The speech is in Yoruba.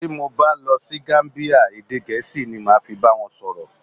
Tí mo bá lọ sí Gamíbíyà, èdè Gẹ̀ẹ́sì ni màá fi bá wọn sọ̀rọ̀.